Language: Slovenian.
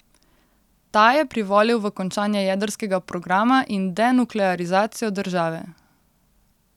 Ta je privolil v končanje jedrskega programa in denuklearizacijo države.